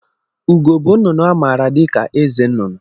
Ugo bụ nnụnụ a maara dịka eze nnụnụ